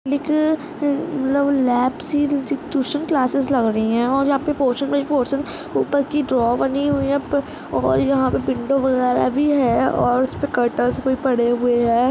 एक लैब सी tuition classes लग रही है और पर पोर्शन बाई पोर्शन ऊपर की ड्रॉ बनी हुई है पर और यहाँ पर विंडो वगर भी है और उस पर कर्टर्स भी पड़े हुए है ।